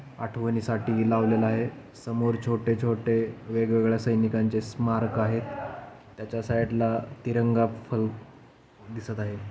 आठवणी साठी ही लावलेल आहे. समोर छोटे छोटे वेगवेगळ्या सैनिकांचे स्मारक आहेत. त्याच्या साइडला तिरंगा फल दिसत आहे.